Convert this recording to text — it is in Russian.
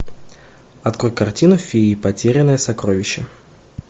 открой картину феи потерянное сокровище